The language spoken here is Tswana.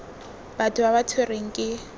batho ba ba tshwerweng ke